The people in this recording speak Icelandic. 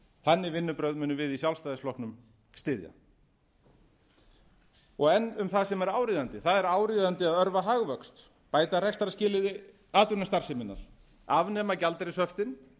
þannig vinnubrögð munum við í sjálfstæðisflokknum styðja enn um það sem er áríðandi það er áríðandi að örva hagvöxt bæta rekstrarskilyrði atvinnustarfseminnar afnema gjaldeyrishöftin